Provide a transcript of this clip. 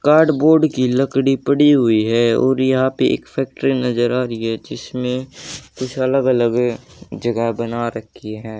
Card board की लकड़ी पड़ी हुई है और यहां पे एक फैक्ट्री नजर आ रही है जिसमें कुछ अलग अलग जगह बना रखी है।